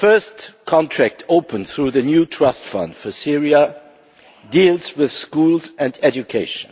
The first contract opened through the new Trust Fund for Syria deals with schools and education.